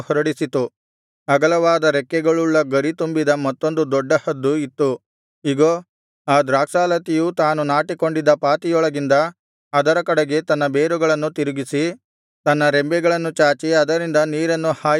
ಅಗಲವಾದ ರೆಕ್ಕೆಗಳುಳ್ಳ ಗರಿ ತುಂಬಿದ ಮತ್ತೊಂದು ದೊಡ್ಡ ಹದ್ದು ಇತ್ತು ಇಗೋ ಆ ದ್ರಾಕ್ಷಾಲತೆಯು ತಾನು ನಾಟಿಕೊಂಡಿದ್ದ ಪಾತಿಯೊಳಗಿಂದ ಅದರ ಕಡೆಗೆ ತನ್ನ ಬೇರುಗಳನ್ನು ತಿರುಗಿಸಿ ತನ್ನ ರೆಂಬೆಗಳನ್ನು ಚಾಚಿ ಅದರಿಂದ ನೀರನ್ನು ಹಾಯಿಸುತ್ತಿತ್ತು